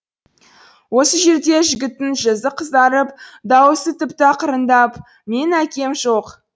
осы жерде жігіттің жүзі қызарып дауысы тіпті ақырындап менің әкем жоқ